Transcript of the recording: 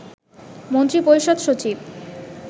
মন্ত্রিপরিষদ সচিব